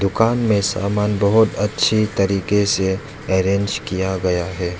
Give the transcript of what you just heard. दुकान में समान बहोत अच्छे तरीके से अरेंज किया गया है।